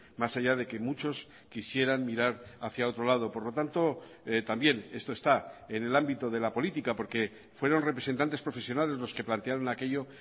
más allá de que muchos quisieran mirar hacia otro lado por lo tanto también esto está en el ámbito de la política porque fueron representantes profesionales los que plantearon aquello